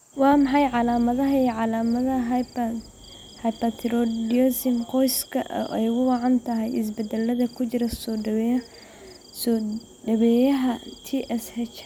Waa maxay calaamadaha iyo calaamadaha hyperthyroidism qoyska oo ay ugu wacan tahay isbeddellada ku jira soo-dhoweeyaha TSH?